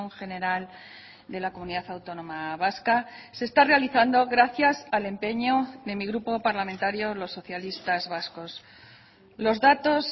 general de la comunidad autónoma vasca se está realizando gracias al empeño de mi grupo parlamentario los socialistas vascos los datos